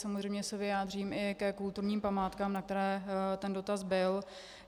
Samozřejmě se vyjádřím i ke kulturním památkám, na které ten dotaz byl.